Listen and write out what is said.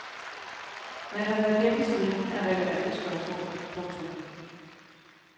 Man har været gennem striben af relevante spørgsmål. punktum